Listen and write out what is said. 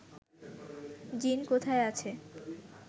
জিন কোথায় আছে